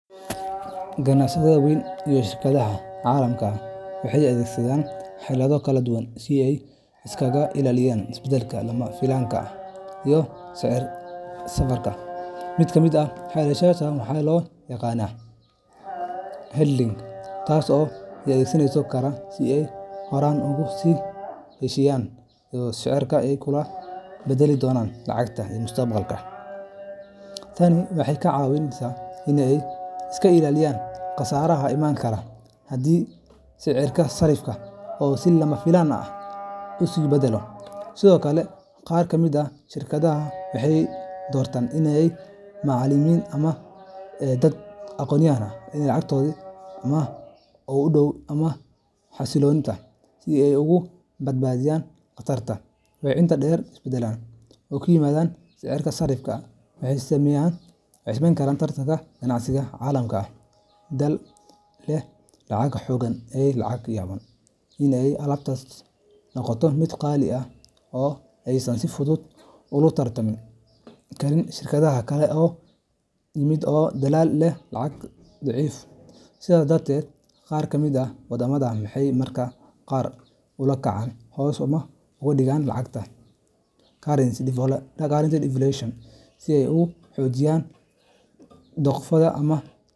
Ganacsatada waaweyn iyo shirkadaha caalamiga ah waxay adeegsadaan xeelado kala duwan si ay iskaga ilaaliyaan isbeddelka lama filaanka ah ee sicirka sarrifka. Mid ka mid ah xeeladahaas waa waxa loo yaqaan hedging taas oo ay adeegsan karaan si ay horay ugu sii heshiistaan sicirka ay ku kala beddeli doonaan lacagaha mustaqbalka. Tani waxay ka caawisaa in ay iska ilaaliyaan khasaaraha iman kara haddii sicirka sarrifka uu si lama filaan ah isu beddelo. Sidoo kale, qaar ka mid ah shirkadaha waxay doortaan in ay la macaamilaan suuqyada ay lacagtu u dhowdahay ama xasilloon tahay, si ay uga badbaadaan khatarta. Waxaa intaa dheer, isbeddelada ku yimaada sicirka sarrifka waxay saameyn karaan tartanka ganacsiga caalamiga ah. Dal leh lacag xooggan ayaa laga yaabaa in alaabtiisu noqoto mid qaali ah oo aysan si fudud ula tartami karin shirkadaha kale ee ka yimaada dalal leh lacag daciif ah. Sidaas darteed, qaar ka mid ah waddamada waxay mararka qaar si ula kac ah hoos ugu dhigaan lacagtooda currency devaluation si ay u xoojiyaan dhoofkooda.